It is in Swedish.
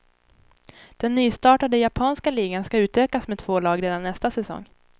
Den nystartade japanska ligan ska utökas med två lag redan nästa säsong.